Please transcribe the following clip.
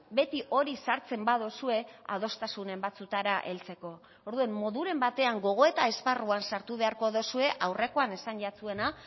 beti hori sartzen baduzue adostasunen batzuetara heltzeko orduan moduren batean gogoeta esparruan sartu beharko duzue aurrekoan esan jatzuena